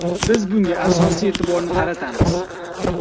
Biz bunga asosiy e’tiborni qaratamiz.